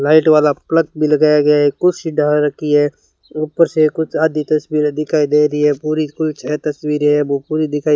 light वाला plug भी लगाया गया है कुछ सीधा रखी है ऊपर से कुछ आधी तस्वीरे दिखाई दे रही है पूरी छः तस्वीरे है वो पूरी दिखाई --